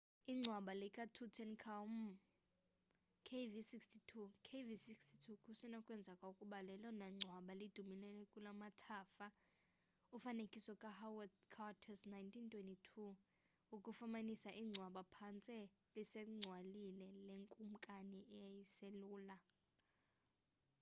ingcwba lika tutankhamun kv62. kv62 kusenokwenzeka ukuba lelona ngcwaba lidumileyo kulamathafa ufanekiso ka howard carter's 1922 wokufumanisa ingcwaba phantse lisancwalile lekumkani eyayiselula